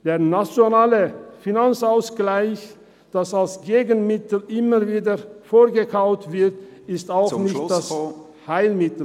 Der NFA, der als Gegenmittel immer wieder vorgekaut wird, ist auch kein Heilmittel.